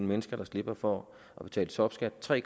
mennesker der slipper for at betale topskat tre